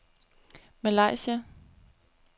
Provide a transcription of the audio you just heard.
Malaysia